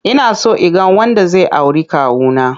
Inaso inga wanda zai auri kawuna.